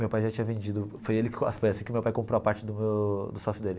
Meu pai já tinha vendido, foi ele que comprou a parte do do sócio dele.